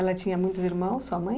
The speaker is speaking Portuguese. Ela tinha muitos irmãos, sua mãe?